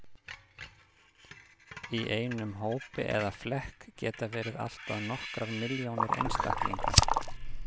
Í einum hópi eða flekk geta verið allt að nokkrar milljónir einstaklinga.